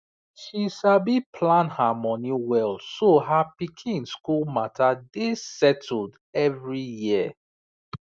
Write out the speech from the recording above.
she sabi plan her money well so her pikin school matter dey settled every year